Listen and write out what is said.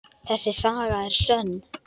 Þessi saga er sönn.